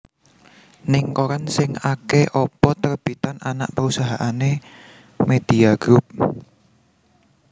Ning koran sing ake opo terbitan anak perusahaane Media Group